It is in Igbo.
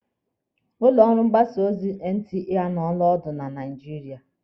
Ụlọ ọrụ mgbasa ozi NTA anụọla ọdụ na Naijiria.